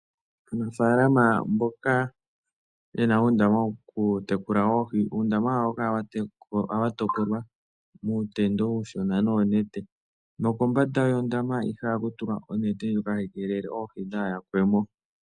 Aanafaalama mboka ye na uundama woku tekula oohi, uundama wawo oha wu kala wa topolwa muutendo uushona noonete, nokombanda yondama ihe oha ku tulwa onete, ndjoka hayi keelele oohi dhaa ha yakwe mo.